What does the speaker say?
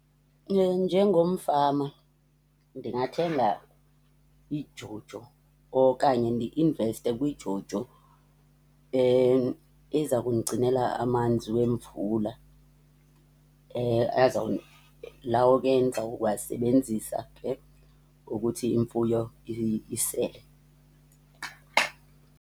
Njengomfama ndingathenga iJojo okanye ndi-investe kwiJojo eza kundigcinela amanzi wemvula. Lawo ke ndizawasebenzisa ke ukuthi imfuyo isele.